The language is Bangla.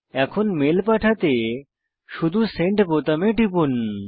এখন মেল পাঠাতে শুধু সেন্ড বোতামে টিপুন